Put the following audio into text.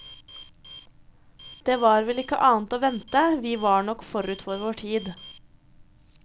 Det var vel ikke annet å vente, vi var nok forut for vår tid.